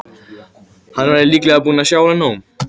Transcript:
Hann væri líklega búinn að sjá alveg nóg.